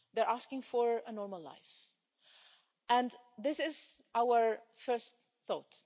They're asking for a normal life, and this is our first thought